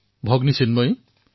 Bhagini Chinmayi